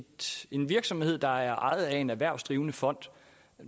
en virksomhed der er ejet af en erhvervsdrivende fond